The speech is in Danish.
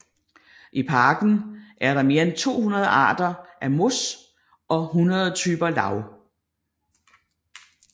I parken er der mere end 200 arter af mos og 100 typer lav